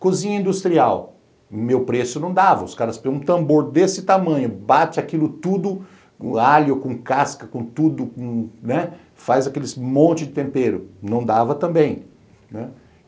Cozinha industrial, meu preço não dava, os caras põem um tambor desse tamanho, bate aquilo tudo com alho, com casca, com tudo, né, faz aquele monte de tempero, não dava também.